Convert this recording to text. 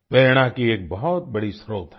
प्रेरणा की एक बहुत बड़ी स्रोत हैं